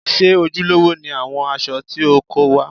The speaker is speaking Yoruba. Ṣé ojúlówó ni àwọn aṣọ tí o kó wá?